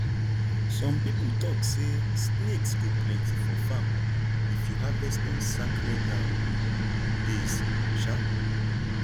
some people talk say snakes go plenty for farm if you harvest on sacred um days um